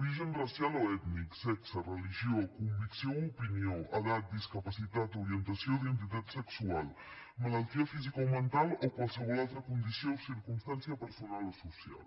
origen racial o ètnic sexe religió convicció o opinió edat discapacitat orientació o identitat sexual malaltia física o mental o qualsevol altra condició o circumstància personal o social